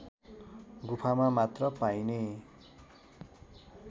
गुफामा मात्र पाइने